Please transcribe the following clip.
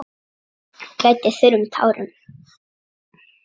Grætur þurrum tárum.